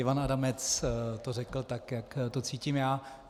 Ivan Adamec to řekl tak, jak to cítím já.